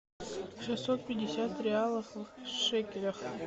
шестьсот пятьдесят реалов в шекелях